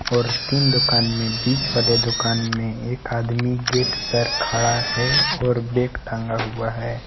और तीन दुकान में बीच वाले दुकान में एक आदमी गेट पर खड़ा है और बैग टांगा हुआ है।